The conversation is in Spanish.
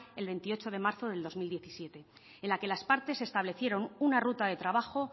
el veintiocho de marzo del dos mil diecisiete en la que las partes establecieron una ruta de trabajo